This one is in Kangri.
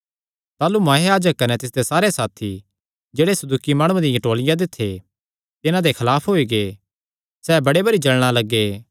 ताह़लू महायाजक कने तिसदे सारे साथी जेह्ड़े सदूकी माणुआं दिया टोलिया दे थे तिन्हां दे खलाफ होई गै सैह़ बड़े भरी जल़ना लग्गे